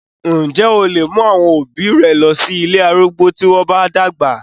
Ǹ jẹ́ o lè mú àwọn òbí rẹ lọ sí ilé arúgbó tí wọ́n bá dàgbà?